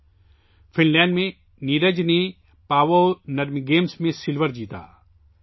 نیرج نے Finland میں Paavo Nurmi games میں چاندی کا تمغہ جیتا